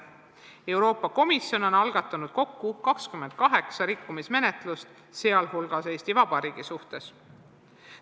Euroopa Komisjon on algatanud kokku 28 rikkumismenetlust, sh Eesti Vabariigi suhtes.